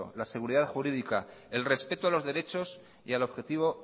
la seguridad jurídica el respeto a los derechos y al objetivo